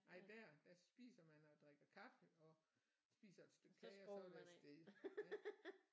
Nej der der spiser man og drikker kaffe og spiser et stykke kage og så er det af sted ja